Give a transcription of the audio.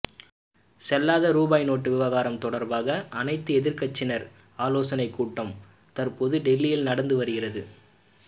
செல்லாத ரூபாய் நோட்டு விவகாரம் தொடர்பாக அனைத்து எதிர்க்கட்சியினர் ஆலோசனை கூட்டம் தற்போது டெல்லியில் நடந்து வருகிறது